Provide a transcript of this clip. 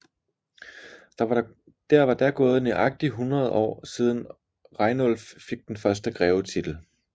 Der var da gået nøjagtigt hundrede år siden Rainulf fik den første grevetitel